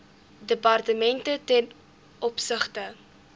departemente ten opsigte